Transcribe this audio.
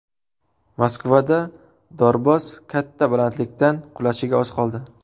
Moskvada dorboz katta balandlikdan qulashiga oz qoldi .